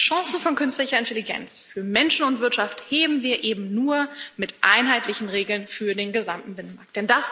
Die Chance von künstlicher Intelligenz für Menschen und Wirtschaft heben wir eben nur mit einheitlichen Regeln für den gesamten Binnenmarkt.